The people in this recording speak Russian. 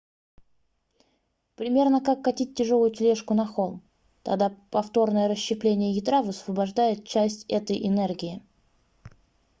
примерно как катить тяжелую тележку на холм тогда повторное расщепление ядра высвобождает часть этой энергии